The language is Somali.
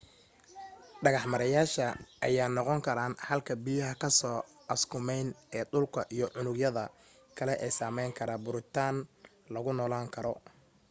dhagax meereyayaasha ayaa noqon karaa halka biyaha kasoo askumeyn ee dhulka iyo unug yadada kale ee sameyn kara burutiin lagu noolan karo